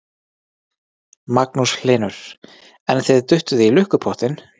Magnús Hlynur: En þið duttuð í lukkupottinn?